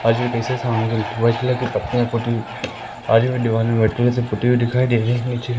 आज वी कैसे आज वी दिखाई दे रही है नीचे--